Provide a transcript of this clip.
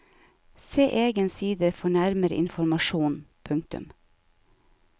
Se egen side for nærmere informasjon. punktum